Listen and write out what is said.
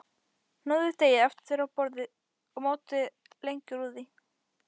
Hnoðið deigið aftur á borði og mótið lengjur úr því.